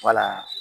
Wala